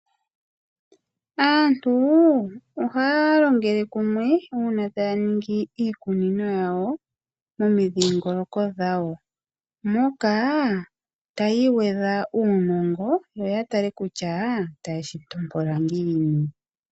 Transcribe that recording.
Aantu ohaya longele kumwe uuna taya ningi iikunino yawo momidhingoloko dhawo. Moka taya igwedha uunongo yo yatale kutya otaye shitompola ngiini.